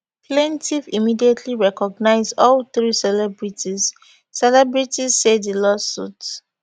plaintiff immediately recognize all three celebrities celebrities say di lawsuit